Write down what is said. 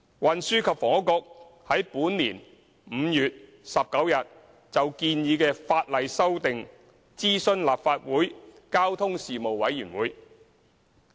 運輸及房屋局於本年5月19日就建議的法例修訂，諮詢立法會交通事務委員會。